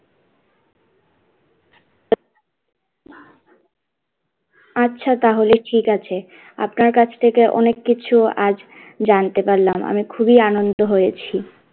আচ্ছা তাহলে ঠিক আছে আপনার কাছ থেকে অনেক কিছু, আজ জানতে পারলাম আমি খুবই আনন্দ হয়েছি,